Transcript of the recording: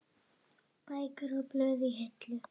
Bækur og blöð í hillum.